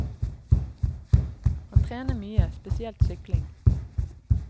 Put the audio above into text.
Han trener mye, spesielt sykling.